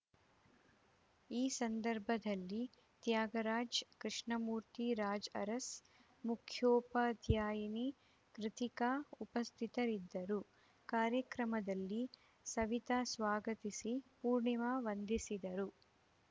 ಈ ಸಂದರ್ಭದಲ್ಲಿ ತ್ಯಾಗರಾಜ್‌ ಕೃಷ್ಣಮೂರ್ತಿ ರಾಜ್‌ಅರಸ್‌ ಮುಖ್ಯೋಪಾಧ್ಯಾಯಿನಿ ಕೃತಿಕ ಉಪಸ್ಥಿತರಿದ್ದರು ಕಾರ್ಯಕ್ರಮದಲ್ಲಿ ಸವಿತ ಸ್ವಾಗತಿಸಿ ಪೂರ್ಣಿಮ ವಂದಿಸಿದರು